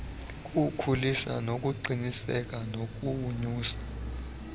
kuwukhulisa ukuqiniseka nokonyusa